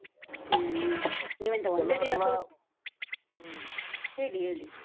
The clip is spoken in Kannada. ಹ್ಮ . ಹ್ಮ ಹೇಳಿ ಹೇಳಿ.